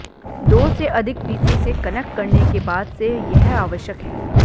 दो से अधिक पीसी से कनेक्ट करने के बाद से यह आवश्यक है